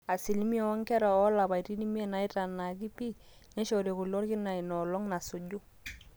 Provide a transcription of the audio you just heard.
asilimia oonkera oolapaitin imiet naaitanaaki pii neishori kule orkina inoolong nasuju